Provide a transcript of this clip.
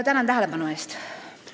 Tänan tähelepanu eest!